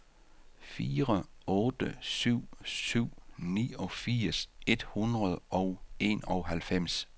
fire otte syv syv niogfirs et hundrede og enoghalvfems